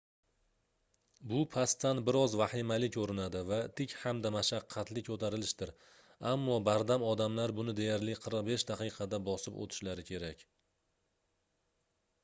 bu pastdan bir oz vahimali koʻrinadi va tik hamda mashaqqatli koʻtarilishdir ammo bardam odamlar buni deyarli 45 daqiqada bosib oʻtishlari kerak